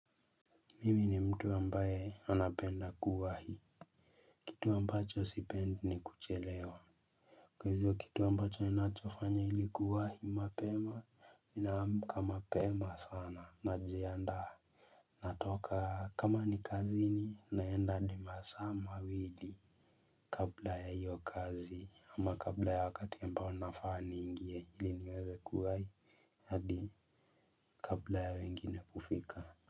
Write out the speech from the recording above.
Mimi ni mtu ambaye anapenda kuwahi. Kitu ambacho sipendi ni kuchelewa. Kwa hivyo kitu ambacho ninachofanya ili kuwahi mapema ninaamka mapema sana najianda. Natoka kama ni kazini naenda adi masaa mawili. Kabla ya iyo kazi ama kabla ya wakati ambao unafaa niingie ili niweze kuwahi. Hadi kabla ya wengine kufika.